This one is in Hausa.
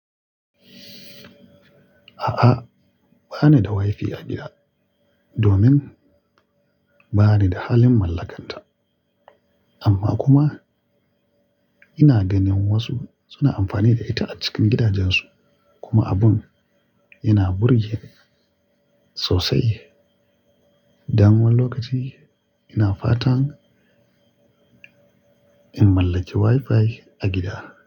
A'a, ba ni da wifi a gida domin ba ni da halin mallakanta. Amma kuma ina ganin wasu suna amfani da ita a cikin gidajensu kuma abun yana burge sosai. Damuwar lokaci ina fatan in mallaki wifi a gida.